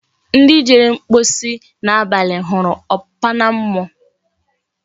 Ndi Jere mkposi na abali huru okpana mmuo